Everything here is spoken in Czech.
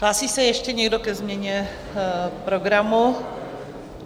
Hlásí se ještě někdo ke změně programu?